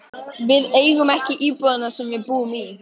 Við eigum ekki íbúðina sem við búum í.